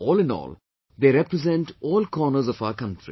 All in all, they represent all corners of our country